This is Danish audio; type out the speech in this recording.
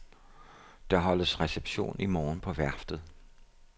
Der holdes reception i morgen på værftet.